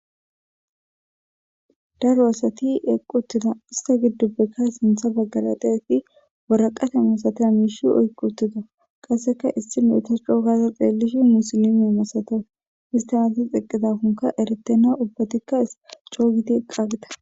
Daaro asati eqqi uttida issta gidoppe sinththa baggara deiyayiti waraqatta masatiya mishsha oyqqi uttida qaseka issinozi ta co gada xelishin musilime masates istti azan eqqidakoka eretenna ubbetika co gidi eqqiyageta.